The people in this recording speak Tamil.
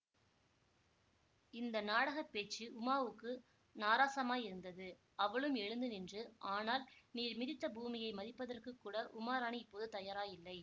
இந்த நாடக பேச்சு உமாவுக்கு நாராசமாயிருந்தது அவளும் எழுந்து நின்று ஆனால் நீர் மிதித்த பூமியை மிதிப்பதற்குக் கூட உமாராணி இப்போது தயாராயில்லை